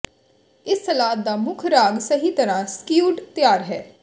ਇਸ ਸਲਾਦ ਦਾ ਮੁੱਖ ਰਾਗ ਸਹੀ ਤਰ੍ਹਾਂ ਸਕਿਉਡ ਤਿਆਰ ਹੈ